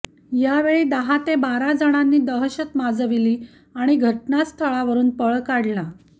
यावेळी दहा ते बारा जणांनी दहशत माजवली आणि घटनास्थावरुन पळ काढला